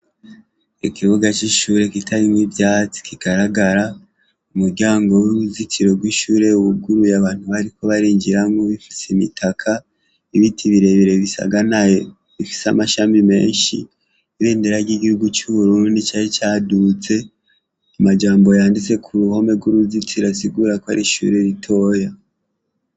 Ikibuga c'ishure kitarimwo ivyatsi kigaragara; umuryango w'uruzitiro rw'ishure wuguruye abantu bariko barinjira nk'uwifutse imitaka; ibiti birebire bisaganaye bifise amashami menshi; ibendera ry'igihugu c'uburundi cari caduze; amajambo yanditse ku ruhome rw'uruzitiro asigura ko ari ishure ritoya.